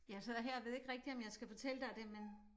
Ja så jeg her ved ikke rigtig om jeg skal fortælle dig det men